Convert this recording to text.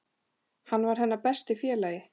Hann var hennar besti félagi.